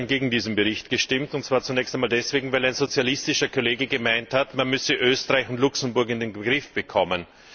Ich habe gestern gegen diesen Bericht gestimmt, und zwar zunächst einmal deswegen, weil ein sozialistischer Kollege gemeint hat, man müsse Österreich und Luxemburg in den Griff bekommen.